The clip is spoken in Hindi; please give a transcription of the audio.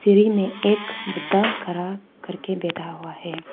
में एक बुद्धा खड़ा करके बैठा हुआ है।